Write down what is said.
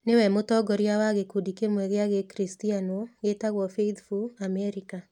Nĩwe mũtongoria wa gĩkundi kĩmwe gĩa Gĩkristiano gĩtagwo Faithful Amerika.